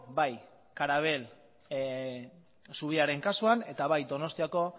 bai karabel zubiaren kasuan eta bai donostiako